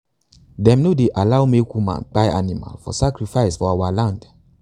them no dey allow make woman to kpai animal for sacrifice for our land.